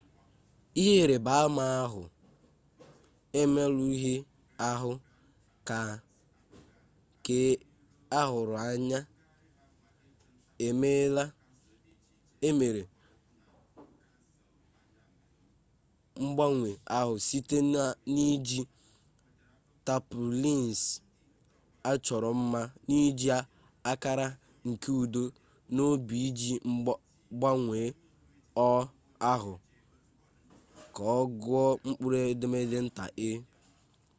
ihe ịrịba ama ahụ emerụghị ahụ keahurụanya emere mgbanwe ahụ site n'iji tarpaulins achọrọ mma n'iji akara nke udo na obi iji gbanwee o ahụ ka ọ gụọ mkpụrụedemede nta e